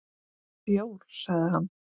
Bjór, sagði hann.